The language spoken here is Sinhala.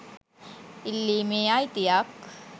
ඉල්ලීමේ අයිතියක්